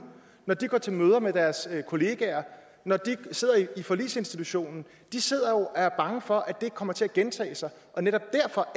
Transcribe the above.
når de går til møder med deres kollegaer når de sidder i forligsinstitutionen de sidder jo og er bange for at det kommer til at gentage sig netop derfor